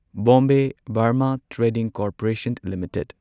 Bombay Burmah Trading Corporation limited